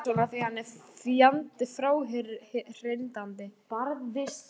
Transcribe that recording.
Ég sagði bara svona af því að hann er svo fjandi fráhrindandi.